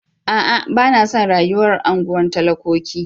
A'a! Ba na son rayuwar unguwar talakoki.